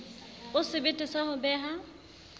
o sebete sa ho beha